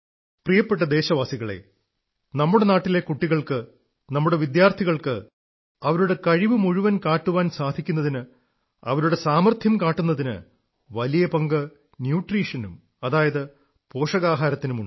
പ്രിയപ്പെട്ട ദേശവാസികളേ നമ്മുടെ നാട്ടിലെ കുട്ടികൾക്ക് നമ്മുടെ വിദ്യാർഥികൾക്ക് അവരുടെ കഴിവു മുഴുവൻ കാട്ടുവാൻ സാധിക്കുന്നതിന് അവരുടെ സാമാർഥ്യം കാട്ടുന്നതിന് വലിയ പങ്ക് ന്യൂട്രീഷനും അതായത് പോഷകാഹാരത്തിനും ഉണ്ട്